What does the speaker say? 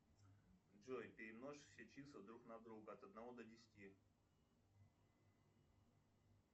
джой перемножь все числа друг на друга от одного до десяти